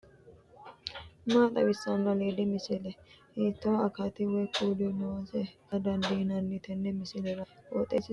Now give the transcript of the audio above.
maa xawissanno aliidi misile ? hiitto akati woy kuuli noose yaa dandiinanni tenne misilera? qooxeessisera noori maati ? kuri ima usurronniri maati